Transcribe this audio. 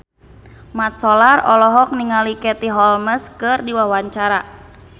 Mat Solar olohok ningali Katie Holmes keur diwawancara